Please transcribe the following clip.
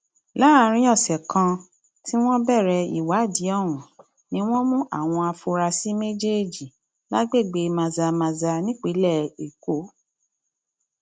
láàrin ọsẹ kan tí wọn bẹrẹ ìwádìí ọhún ni wọn mú àwọn afurasí méjèèjì lágbègbè mazamaza nípìnlẹ èkó